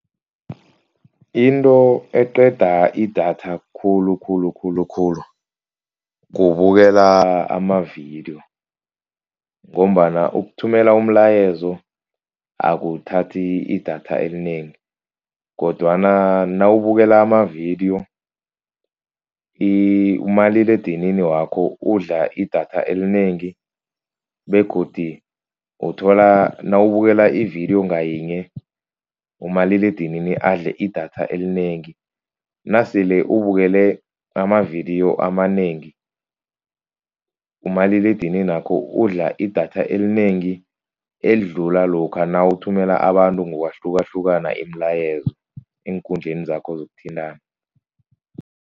Into eqeda idatha khulukhulu khulukhulu kubukela amavidiyo. Ngombana ukuthumela umlayezo akuthathi idatha elinengi kodwana nawubukela amavidiyo umaliledinini wakho udla idatha elinengi begodu uthola nawubukela ividiyo ngayinye umaliledinini adle idatha elinengi. Nasele ubukele amavidiyo amanengi umaliledininakho udla idatha elinengi elidlula lokha nawuthumela abantu ngokwahlukahlukana imilayezo eenkundleni zakho zokuthintana.